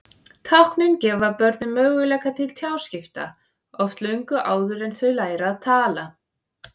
Táknin gefa börnunum möguleika til tjáskipta, oft löngu áður en þau læra að tala.